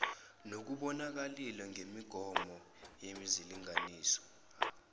nokubonakalile ngemigomo yezilinganiso